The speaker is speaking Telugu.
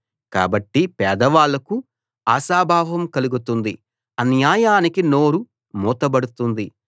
కాబట్టి పేదవాళ్ళకు ఆశాభావం కలుగుతుంది అన్యాయానికి నోరు మూతబడుతుంది